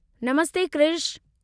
Namaste Krishu!